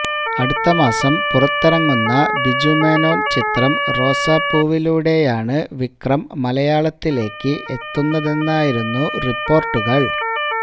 അടുത്ത മാസം പുറത്തിറങ്ങുന്ന ബിജു മേനോൻ ചിത്രം റോസാപ്പൂവിലൂടെയാണ് വിക്രം മലയാളത്തിലേക്ക് എത്തുന്നതെന്നായിരുന്നു റിപ്പോർട്ടുകൾ